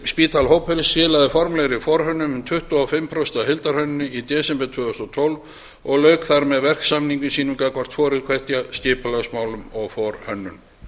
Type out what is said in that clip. spital hópurinn skilaði formlegri forhönnun um tuttugu og fimm prósent af heildarhönnun í desember tvö þúsund og tólf og lauk þar með verksamningi sínum gagnvart hvoru tveggja skipulagsmálum og forhönnun